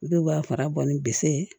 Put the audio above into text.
Dɔw b'a fara bɔ ni bisi ye